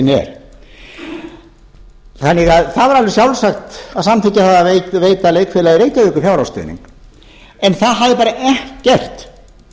leikhúslistin er þannig að það er alveg sjálfsagt að samþykkja að veita leikfélagi reykjavíkur fjárhagsstuðning en það hafði bara ekkert